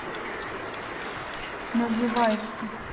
называевска